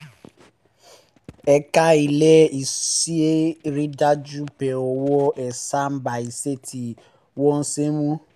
ẹ̀ka ilé-iṣẹ́ rí i dájú pé owó ẹ̀san bá iṣẹ́ tí wọ́n ṣe mu